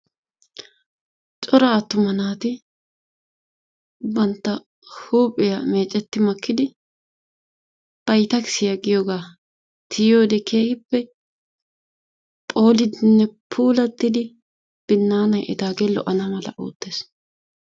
Cora attuma naati bantta huuphiyaa meecetti makkidi baytakisiya giyooga tiyiyoode keehippe phoolidinne puulattidi binnaanay etagee lo''ana mala oottees.